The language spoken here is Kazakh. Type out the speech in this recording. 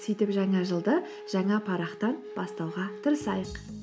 сөйтіп жаңа жылды жаңа парақтан бастауға тырысайық